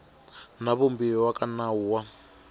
na vumbiwa ka nawu wa